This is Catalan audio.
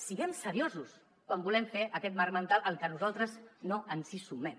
siguem seriosos quan volem fer aquest marc mental al que nosaltres no ens hi sumen